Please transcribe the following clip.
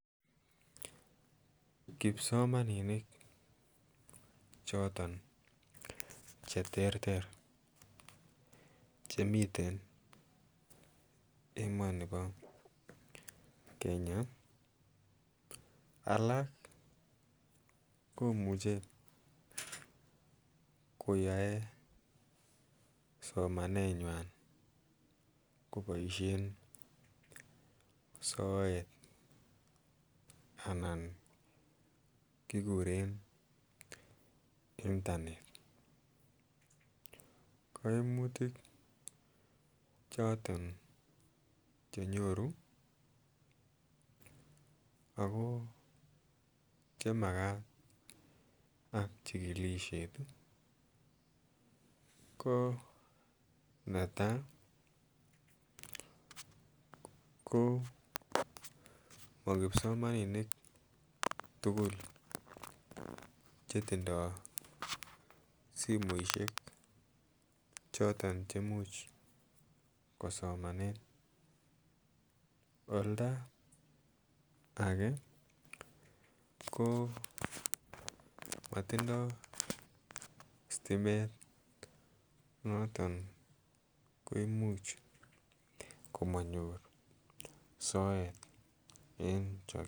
Kipsomaninik choton cheterter chemiten emoni bo Kenya alak komuche koyoe somanetnywan koboishen soet anan kikuren internet koimutik choton chenyoru Ako chemakat ak chikilishet ii koneta ko mokilsomaninik tugul chetindoi simoishek choton cheimuch kosomanen olda age ko motindo sitimet noton koimuch komonyor soet en chokyinet